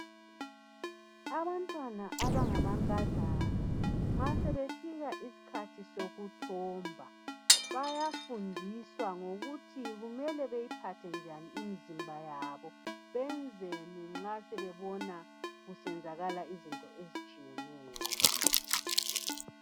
Abantwana abangamankazana, nxa sebefika isikhathi sokuthomba bayafundiswa ngokuthi kumele beyiphathe njani imizimba yabo. Benzeni nxa sebebona kusenzakala izinto ezitshiyeneyo.